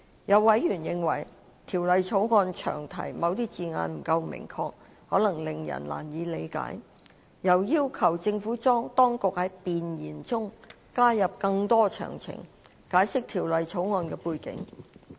有委員認為，《條例草案》詳題的某些字眼不夠明確，可能令人難以理解，又要求政府當局在弁言中加入更多詳情，解釋《條例草案》的背景。